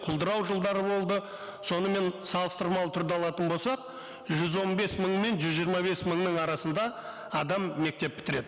құлдырау жылдары болды сонымен салыстырмалы түрді алатын болсақ жүз он бес мың мен жүз жиырма бес мыңның арасында адам мектеп бітіреді